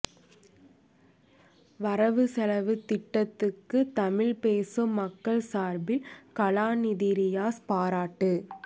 வரவு செலவுத் திட்டத்துக்கு தமிழ் பேசும் மக்கள் சார்பில் கலாநிதி றியாஸ் பாராட்டு